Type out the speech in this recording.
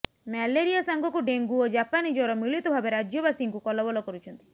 malaria ସାଙ୍ଗକୁ dengue ଓ ଜାପାନୀ ଜ୍ବର ମିଳିତ ଭାବେ ରାଜ୍ୟବାସୀଙ୍କୁ କଲବଲ କରୁଛନ୍ତି